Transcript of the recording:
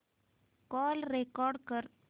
call record कर